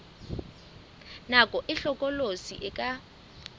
nako e hlokolosi e ka